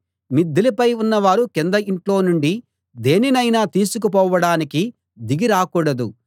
మిద్దెలపై ఉన్నవారు కింద ఇంట్లో నుండి దేనినైనా తీసుకుపోవడానికి దిగి రాకూడదు